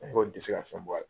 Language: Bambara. A ko nin tɛ se ka fɛn bɔ a la.